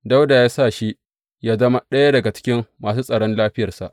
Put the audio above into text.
Dawuda ya sa shi yă zama ɗaya daga cikin masu tsaron lafiyarsa.